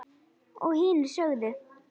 Og hinir sögðu: